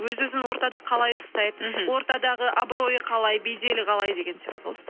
өз өзін ортада қалай ұстайды мхм ортадағы абройы қалай беделі қалай деген сияқты ғой